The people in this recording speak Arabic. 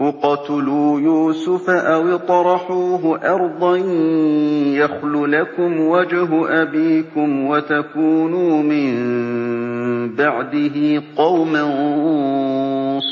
اقْتُلُوا يُوسُفَ أَوِ اطْرَحُوهُ أَرْضًا يَخْلُ لَكُمْ وَجْهُ أَبِيكُمْ وَتَكُونُوا مِن بَعْدِهِ قَوْمًا